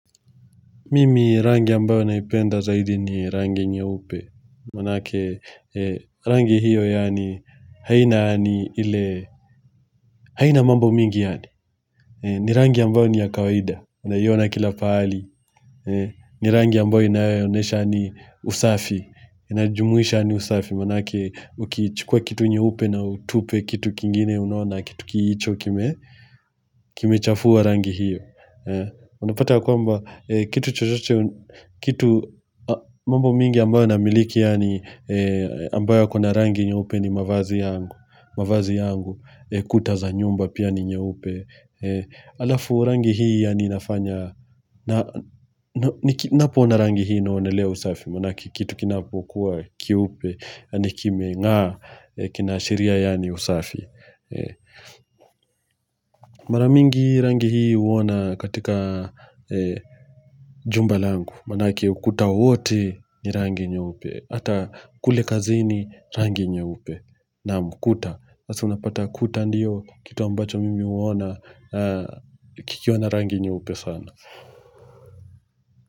Mimi rangi ambayo naipenda zaidi ni rangi nyeupe, maanake rangi hiyo yaani haina yaani ile haina mambo mingi yaani, ni rangi ambayo ni ya kawaida, unaiona kila pahali, ni rangi ambayo inaonesha ni usafi, inajumuisha ni usafi, maanake uki chukua kitu nyeupe na utupe, kitu kingine unaona, kitu kiicho kime chafua rangi hiyo. Unapata kwamba kitu chochoche Kitu mambo mingi ambayo namiliki yaani ambayo kuna rangi nyeupe ni mavazi yangu mavazi yangu kuta za nyumba pia ni nyupe Alafu rangi hii yaani inafanya Napoona rangi hii naonelea usafi Maanake kitu kinapo kuwa kiupe yaamini kimeNga kinaashiria yani usafi Mara mingi rangi hii uona katika jumba langu Maanake ukuta wote ni rangi nyeupe Hata kule kazini Rangi nyeupe Naam kuta sasa unapata kuta ndio kitu ambacho mimi uona kikiwa na rangi nyeupe sana.